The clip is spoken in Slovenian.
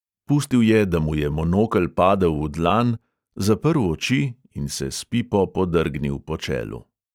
Pustil je, da mu je monokel padel v dlan, zaprl oči in se s pipo podrgnil po čelu.